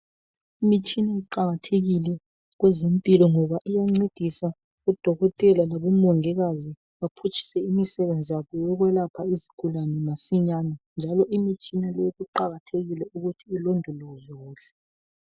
Imitshina iqakathekile kwezempilo ngoba iyancedisa odokotela labomongikazi baphutshise imisebenzi yabo yokwelapha izigulane masinyane. Njalo imitshina leyi kuqakathekile ukuthi ilondolozwe kuhle.